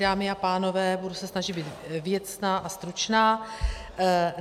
Dámy a pánové, budu se snažit být věcná a stručná.